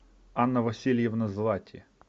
анна васильевна злати